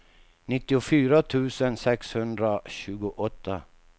nittiofyra tusen sexhundratjugoåtta